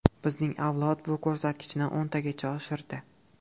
Bizning avlod bu ko‘rsatkichni o‘ntagacha oshirdi.